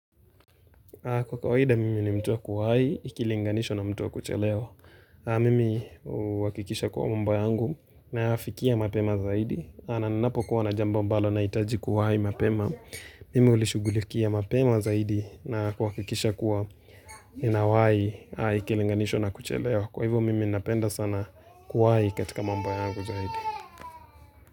Kwa kawaida, mimi ni mtu wa kuwahi, ikilinganishwa na mtu wa kuchelewa. Mimi huakikisha kuwa mambo yangu nayafikia mapema zaidi. Ninapo kuwa na jambo ambalo nahitaji kuwahi mapema. Mimi hulishugulikia mapema zaidi na kuhakikisha kuwa inawahi, ikilinganishwa na kuchelewa. Kwa hivyo, mimi napenda sana kuwahi katika mambo yangu zaidi.